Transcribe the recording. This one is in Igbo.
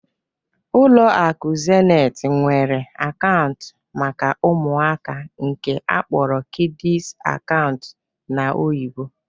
Ụlọ akụ Zenit nwere akaụntụ maka ụmụaka nke akpọrọ kịdịs akaụntụ n'oyibo.